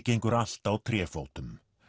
gengur allt á tréfótum